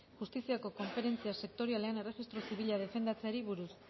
justiziako konferentzia sektorialean erregistro zibila defendatzeari buruz